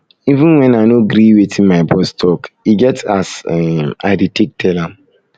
even wen i no gree wetin my boss talk e get as um i dey take tell am